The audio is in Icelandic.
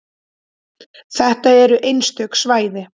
Þetta eru einstök svæði.